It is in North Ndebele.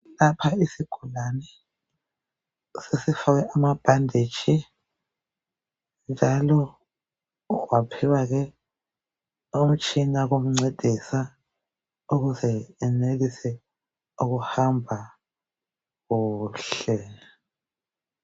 Lapha isigulani sesifakwe amabhandeji njalo waphiwa umtshina wokumcedisa ukuze enelise ukuhamba kuhle